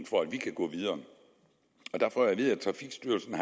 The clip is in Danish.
for at vi kan gå videre der får jeg at vide at trafikstyrelsen